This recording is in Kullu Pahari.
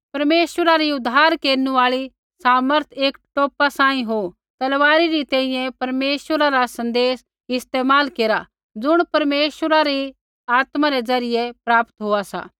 परमेश्वरा री उद्धारा केरनु आल़ी समर्थ एक टोपा सांही हो होर तलवारी री तैंईंयैं परमेश्वरा रा सन्देशा रा इस्तेमाल केरा ज़ुण परमेश्वरा री आत्मा रै ज़रियै प्राप्त होआ सा